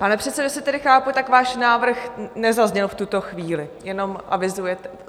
Pane předsedo, jestli tedy chápu, tak váš návrh nezazněl v tuto chvíli, jenom avizujete.